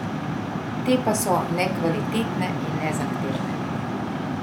Te pa so nekvalitetne in nezahtevne.